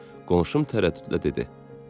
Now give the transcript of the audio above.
Qonşum tərəddüdlə dedi: